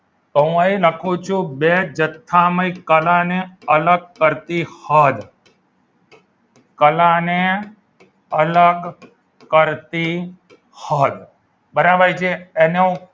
તો હું અહીં લખું છું બે જથ્થામાં કલાને અલગ કરતી હદ કલાને અલગ કરતી હદ બરાબર છે એનો હું